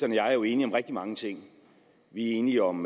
jeg er jo enige om rigtig mange ting vi er enige om